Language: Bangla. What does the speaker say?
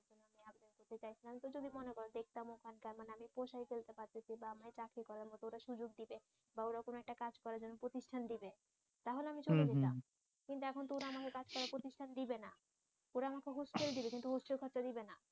চাকরি করার মত সুযোগ দিবে বা ওরা কোনো একটা কাজ করার জন্য প্রতিষ্ঠান দেবে তাহলে আমি চলে যেতাম কিন্তু এখন তো ওরা আমাকে কাজ করার প্রতিষ্ঠান দিবে না ওরা আমাকে হোস্টেল দিবে কিন্তু হোস্টেল খরচা দিবে না